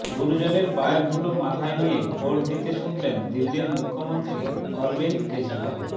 গুরুজনের পায়ের ধুলো মাথায় নিয়ে ভোট দিতে ছুটলেন দিল্লির মুখ্যমন্ত্রী অরবিন্দ কেজরিওয়াল